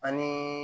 Ani